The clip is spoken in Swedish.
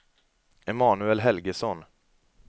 Emanuel Helgesson